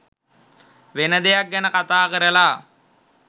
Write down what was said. වෙන දෙයක් ගැන කතා කරලා